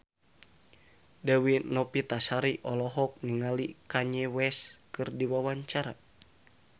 Dewi Novitasari olohok ningali Kanye West keur diwawancara